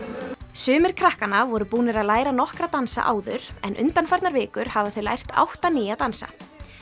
sumir krakkanna voru búnar að læra nokkra dansa áður en undanfarnar vikur hafa þau lært átta nýja dansa